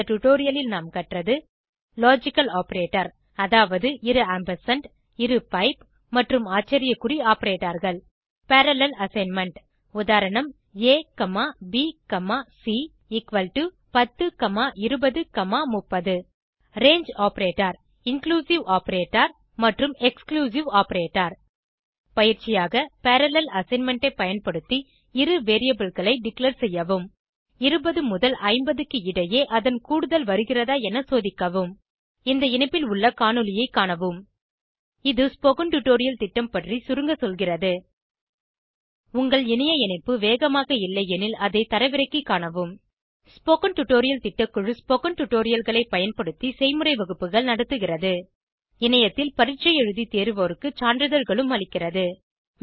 இந்த டுடோரியலில் நாம் கற்றது லாஜிக்கல் ஆப்பரேட்டர் அதாவது இரு ஆம்பர்சாண்ட் இரு பைப் மற்றும் ஆச்சரிய குறி operatorகள் பரல்லேல் அசைன்மென்ட் உதா abc102030 range operator inclusive operator மற்றும் எக்ஸ்க்ளூசிவ் operator பயிற்சியாக பரல்லேல் அசைன்மென்ட் ஐ பயன்படுத்தி இரு வேரியபிள் களை டிக்ளேர் செய்யவும் 20 முதல் 50 க்கு இடையே அதன் கூடுதல் வருகிறதா என சோதிக்கவும் இந்த இணைப்பில் உள்ள காணொளியைக் காணவும் இது ஸ்போகன் டுடோரியல் திட்டம் பற்றி சுருங்க சொல்கிறது உங்கள் இணைய இணைப்பு வேகமாக இல்லையெனில் அதை தரவிறக்கிக் காணவும் ஸ்போகன் டுடோரியல் திட்டக்குழு ஸ்போகன் டுடோரியல்களைப் பயன்படுத்தி செய்முறை வகுப்புகள் நடத்துகிறது இணையத்தில் பரீட்சை எழுதி தேர்வோருக்கு சான்றிதழ்களும் அளிக்கிறது